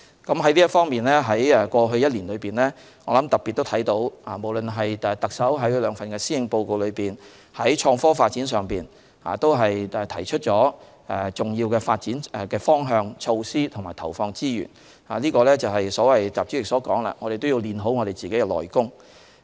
在這方面，過去1年可看到特首在其兩份施政報告內，在創科方面都特別提出重要的發展方向、措施並投放資源，這正配合習主席所說的我們要練好自己的"內功"。